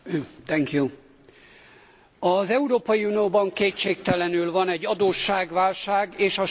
Az Európai Unióban kétségtelenül van egy adósságválság és a schengeni rendszer is válságban van.